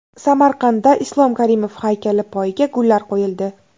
Samarqandda Islom Karimov haykali poyiga gullar qo‘yildi.